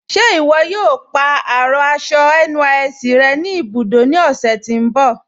Ṣe iwọ̀ yóò pa arọ aṣọ NYSC rẹ̀ ni ibudó ni ọ̀sẹ̀ tí n bọ̀?